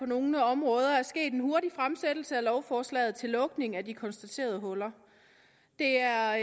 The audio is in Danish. nogle områder er sket en hurtig fremsættelse af lovforslaget til lukning af de konstaterede huller det er